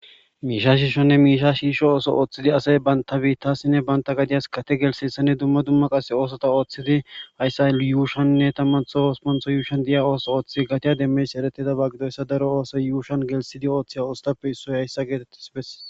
Mish shishone misha shisho ootho oothid asay banta bitas gate gelithiyaysane dumma dumma osota othid gatiya demiyays eretiyayasa gidoysa .